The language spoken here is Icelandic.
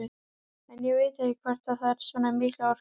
En ég veit ekkert hvort það þarf svona mikla orku.